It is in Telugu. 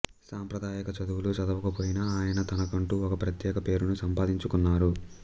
సాంప్రదాయక చదువులు చదవకపోయినా ఆయన తనకంటూ ఓ ప్రత్యేక పేరును సంపాదించుకున్నారు